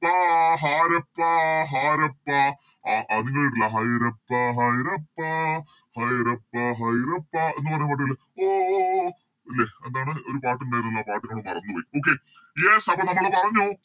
പ്പ ഹാരപ്പ ഹാരപ്പ അഹ് ആഹ് നിങ്ങള് കേട്ടില്ലേ ഹൈറപ്പ ഹൈറപ്പ ഹൈറപ്പ ഹൈറപ്പ എന്നുപറഞ്ഞ പാട്ടില് ഓ ഓ ഓ ല്ലേ എന്താണ് ഒരു പാട്ട് ഇണ്ടേനുലോ പെട്ടെന്നോട് മറന്നൊയി Okay yes അപ്പൊ നമ്മള് പറഞ്ഞു